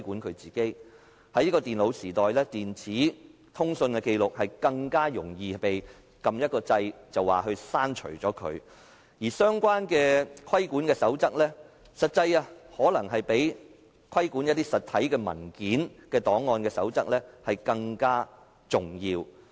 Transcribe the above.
在現今的電腦時代，電子的通訊紀錄更加容易銷毀，只需要按一個掣便可以刪除，而相關的規管守則可能比規管實體文件檔案的守則更加重要。